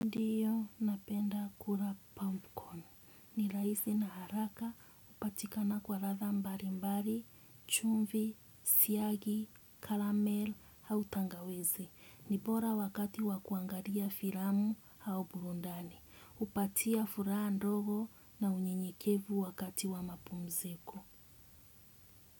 Ndiyo napenda kula popcorn ni rahisi na haraka hupatikana kwa ladha mbalimbali, chumvi, siagi, karamel, au tangawizi. Ni bora wakati wa kuangalia filamu au burudani. Hupatia furaha ndogo na unyenyekevu wakati wa mapumziko.